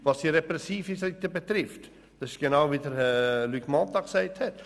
Was die repressive Seite betrifft, so verhält es sich genauso wie von Luc Mentha erwähnt.